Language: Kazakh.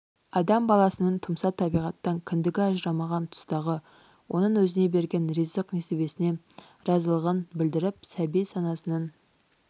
адам баласының тұмса табиғаттан кіндігі ажырамаған тұстағы оның өзіне берген ризық-несібесіне разылығын білдіріп сәби санасының